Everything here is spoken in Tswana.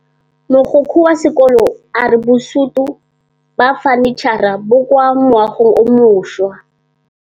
Mogokgo wa sekolo a re bosutô ba fanitšhara bo kwa moagong o mošwa.